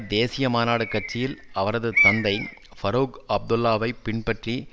தேசிய மாநாடு கட்சியில் அவரது தந்தை பரூக் அப்துல்லாவைப் பின்பற்றி